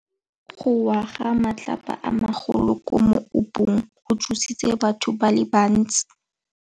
Go wa ga matlapa a magolo ko moepong go tshositse batho ba le bantsi.